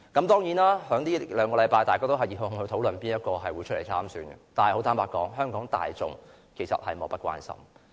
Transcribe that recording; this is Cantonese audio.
當然，在這兩個星期大家都熱烘烘地討論誰會出來參選，但坦白說，香港大眾其實是莫不關心的。